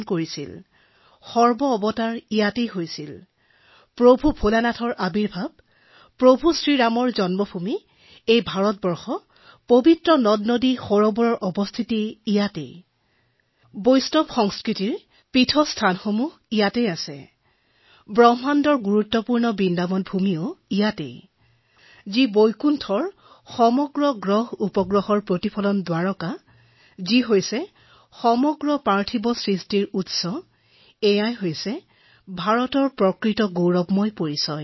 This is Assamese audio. ভগৱান শিৱৰ জন্ম ইয়াত হৈছিল ভগৱান ৰামৰ ইয়াত জন্ম হৈছিল সকলো পবিত্ৰ নদী ইয়াত আছে বৈষ্ণৱ সংস্কৃতিৰ সকলো পবিত্ৰ ধাম ইয়াত আছে আৰু সেয়ে ভাৰত বিশেষকৈ বৃন্দাবন বিশ্বৰ ভিতৰতে এক গুৰুত্বপূৰ্ণ স্থান বৃন্দাবন বৈকুণ্ঠ ধামৰ উৎস দ্বাৰকাৰ উৎস আৰু সকলো পাৰ্থিৱ সৃষ্টিৰ উৎস সেয়ে মই ভাৰতক ভাল পাও